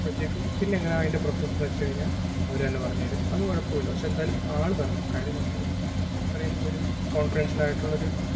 അപ്പഴത്തെക്കും പിന്നെങ്ങനാ അതിന്റെ process എന്ന് വെച്ച് കഴിഞ്ഞാല്‍ അവര് തന്നെ പറഞ്ഞുതരും അത് കുഴപ്പമില്ല പക്ഷേ എന്തായാലും ആള് വരണം കാര്യം നമ്മളിതിപ്പം ഇത്രേം ഒരു confidential ആയിട്ടുള്ള ഒരു